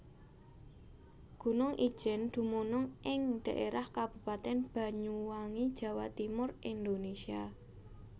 Gunung Ijen dumunung ing dhaérah Kabupaten Banyuwangi Jawa Timur Indonésia